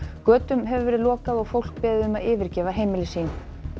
götum hefur verið lokað og fólk beðið um að yfirgefa heimili sín